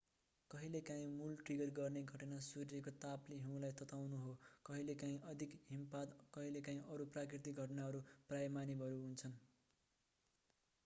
कहिलेकाँही मूल ट्रिगर गर्ने घटना सूर्यको तापले हिउँलाई तताउनु हो कहिलेकाहीँ अधिक हिमपात कहिलेकाहीँ अरू प्राकृतिक घटनाहरू प्रायः मानवहरू हुन्